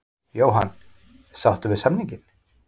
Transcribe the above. Jóhann: Sáttur við samninginn?